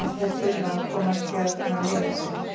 ef þeir þurfa að komast hérna leiðar sinnar?